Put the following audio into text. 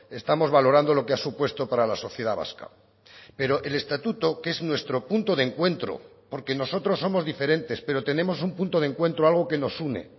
estamos valorando lo que ha supuesto para la sociedad vasca pero el estatuto que es nuestro punto de encuentro porque nosotros somos diferentes pero tenemos un punto de encuentro algo que nos une